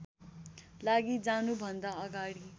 लागि जानुभन्दा अगाडि